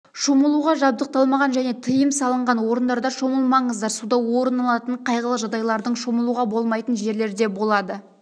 шомылуға жабдықталмаған және тиым салынған орындарда шомылмаңыздар суда орын алатын қайғылы жағдайлардың шомылуға болмайтын жерлерде болады